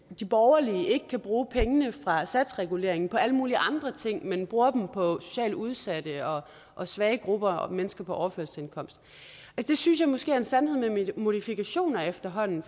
de borgerlige ikke kan bruge pengene fra satsreguleringen på alle mulige andre ting men bruger dem på socialt udsatte og svage grupper og mennesker på overførselsindkomst det synes jeg måske er en sandhed med modifikationer efterhånden